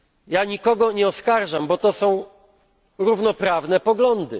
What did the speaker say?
Ja nikogo nie oskarżam, bo to są równoprawne poglądy.